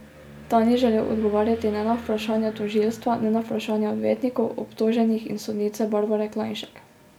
Ta ni želel odgovarjati ne na vprašanja tožilstva ne na vprašanja odvetnikov, obtoženih in sodnice Barbare Klajnšek.